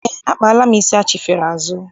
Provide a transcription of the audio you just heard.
Eé, akpaala m isi achifere azụ.